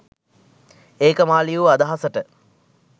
ඒක මා ලියූ අදහසට.